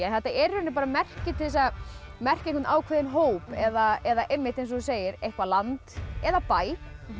þetta er merki til að merkja einhvern ákveðinn hóp eða eða eins og þú segir eitthvað land eða bæ